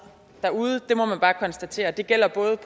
derude det må man bare konstatere det gælder både